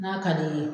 N'a ka d'i ye